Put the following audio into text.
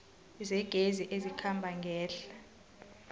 zegezi ezikhamba ngehla